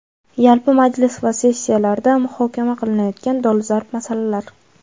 Yalpi majlis va sessiyalarda muhokama qilinayotgan dolzarb masalalar:.